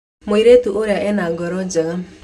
Mũirĩtu ũrĩa ena ngoro njega.